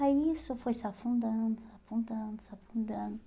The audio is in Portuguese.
Aí isso foi se afundando, se afundando, se afundando.